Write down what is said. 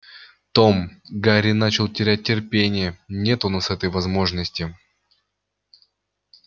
том гарри начал терять терпение нет у нас этой возможности